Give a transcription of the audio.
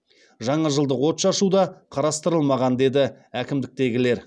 жаңажылдық отшашу да қарастырылмаған деді әкімдіктегілер